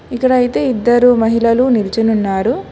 ఇక్కడ అయితే ఇద్దరూ మహిళలు నిల్చునున్నారు.